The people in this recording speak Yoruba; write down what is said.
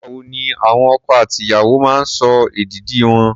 Nígbà wo ni àwọn ọkọ àti ìyàwó máa ń sọ èdìdì wọn?